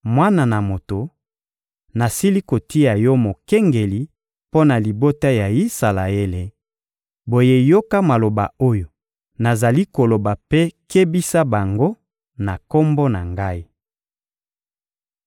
«Mwana na moto, nasili kotia yo mokengeli mpo na libota ya Isalaele; boye yoka maloba oyo nazali koloba mpe kebisa bango na Kombo na Ngai.